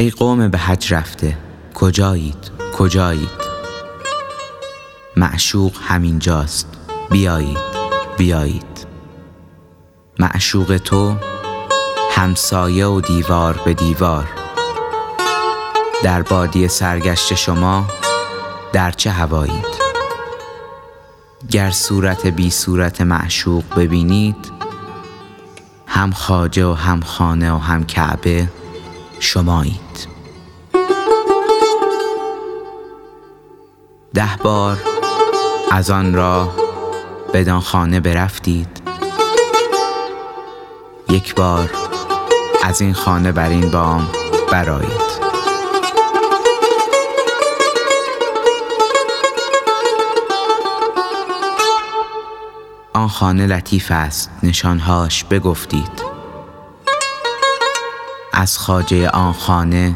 ای قوم به حج رفته کجایید کجایید معشوق همین جاست بیایید بیایید معشوق تو همسایه و دیوار به دیوار در بادیه سرگشته شما در چه هوایید گر صورت بی صورت معشوق ببینید هم خواجه و هم خانه و هم کعبه شمایید ده بار از آن راه بدان خانه برفتید یک بار از این خانه بر این بام برآیید آن خانه لطیفست نشان هاش بگفتید از خواجه آن خانه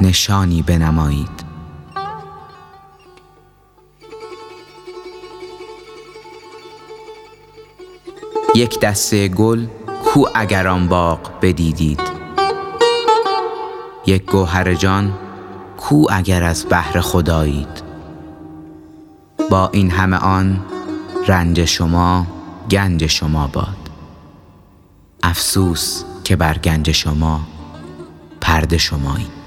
نشانی بنمایید یک دسته گل کو اگر آن باغ بدیدید یک گوهر جان کو اگر از بحر خدایید با این همه آن رنج شما گنج شما باد افسوس که بر گنج شما پرده شمایید